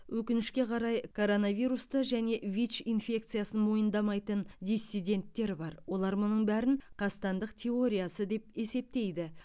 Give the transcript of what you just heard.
өкінішке қарай коронавирусты және вич инфекциясын мойындамайтын диссиденттер бар олар мұның бәрін қастандық теориясы деп есептейді